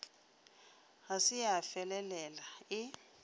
ga se ya felela e